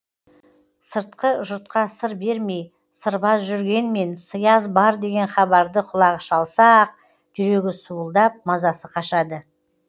сыртқы жұртқа сыр бермей сырбаз жүргенмен сыяз бар деген хабарды құлағы шалса ақ жүрегі суылдап мазасы қашады